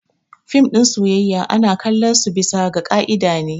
Fim na soyayya ana kalon su bisa ga kaida ne.